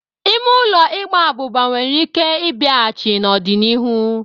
Ime ụlọ Ịgba abuba nwere ike ịbịahachi n'ọdịnihu.